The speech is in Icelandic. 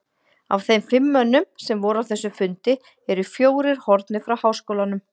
Af þeim fimm mönnum, sem voru á þessum fundi, eru fjórir horfnir frá háskólanum.